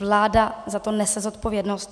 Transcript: Vláda za to nese zodpovědnost.